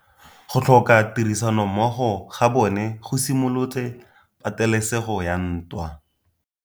Go tlhoka tirsanommogo ga bone go simolotse patêlêsêgô ya ntwa.